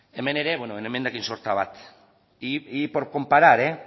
hemen ere beno emendakin sorta bat y por comparar